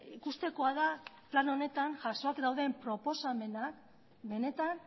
ikustekoa da plan honetan jasoak dauden proposamenak benetan